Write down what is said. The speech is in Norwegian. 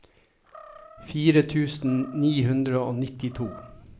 fire tusen ni hundre og nittito